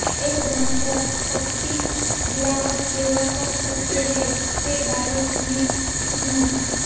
एक समस्या पत्ती गिरावट सेवा कर सकते हैं के बारे में सिग्नल